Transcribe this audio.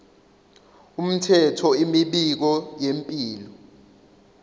umthetho imibiko yempilo